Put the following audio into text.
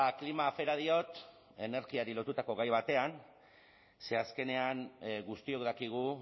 klima afera diot energiari lotutako gai batean ze azkenean guztiok dakigu